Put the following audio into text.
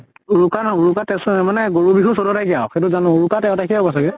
উৰুকা নহয় উৰিকা তে চৈ মানে গৰু বিহু ছৈধ্য় তাৰিখে আৰু সেইটো জানো। উৰুকা তেৰ তাৰিখে হব চাগে।